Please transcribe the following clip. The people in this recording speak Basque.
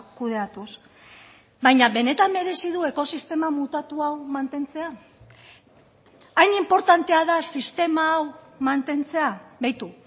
kudeatuz baina benetan merezi du ekosistema mutatu hau mantentzea hain inportantea da sistema hau mantentzea beitu